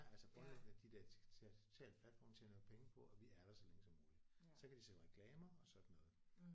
Altså grundlæggende de der digitale platforme tjener jo penge på at vi er der så længe som muligt. Så kan de sælge reklamer og sådan noget